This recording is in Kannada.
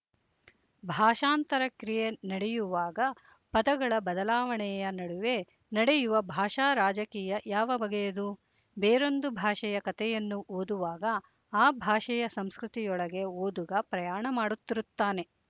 ಭಾಷಾಂತರ ಕ್ರಿಯೆ ನಡೆಯುವಾಗ ಪದಗಳ ಬದಲಾವಣೆಯ ನಡುವೆ ನಡೆಯುವ ಭಾಷಾ ರಾಜಕೀಯ ಯಾವ ಬಗೆಯದು ಬೇರೊಂದು ಭಾಷೆಯ ಕಥೆಯನ್ನು ಓದುವಾಗ ಆ ಭಾಷೆಯ ಸಂಸ್ಕೃತಿ ಯೊಳಗೆ ಓದುಗ ಪ್ರಯಾಣ ಮಾಡುತ್ತಿರುತ್ತಾನೆ